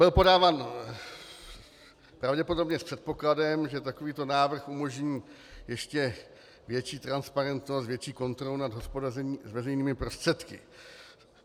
Byl podáván pravděpodobně s předpokladem, že takovýto návrh umožní ještě větší transparentnost, větší kontrolu nad hospodařením s veřejnými prostředky.